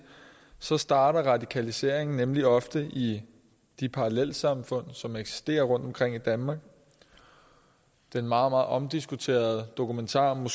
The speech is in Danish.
starter radikalisering nemlig ofte i de parallelsamfund som eksisterer rundt omkring i danmark den meget meget omdiskuterede dokumentarfilm